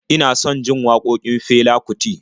Ina son jin waƙokin Fela Kuti